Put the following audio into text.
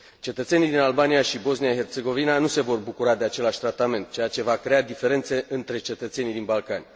Cetățenii din Albania și Bosnia Herțegovina nu se vor bucura de același tratament, ceea ce va crea diferențe între cetățenii din Balcani.